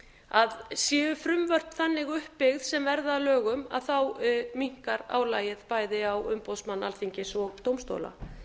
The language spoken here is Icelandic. að séu frumvörp þannig uppbyggð sem verða að lögum minnkar álagið bæði á umboðsmann alþingis og dómstóla